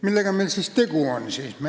Millega meil siis tegu on?